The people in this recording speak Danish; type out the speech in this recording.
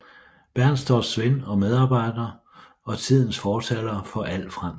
Bernstorffs ven og medarbejder og tidens fortaler for alt fransk